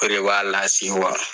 O de b'a lasewa.